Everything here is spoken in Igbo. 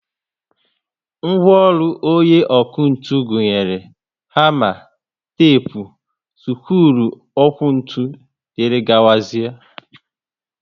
Ngwaọrụ onye ọkụ ntụ gụnyere hama, tepu, sikruuokwomoto wdgz